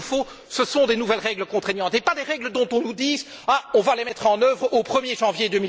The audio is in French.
Ce qu'il nous faut, ce sont des nouvelles règles contraignantes, et pas des règles dont on nous dise On va les mettre en œuvre au 1er janvier